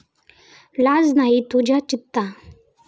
लाज नाही तुझ्या चित्ता।